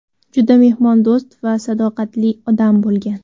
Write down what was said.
juda mehmondo‘st va sadoqatli odam bo‘lgan.